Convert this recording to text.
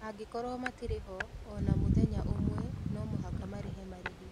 Angĩkorũo matirĩ ho o na mũthenya ũmwe, no mũhaka marĩhe marĩhi.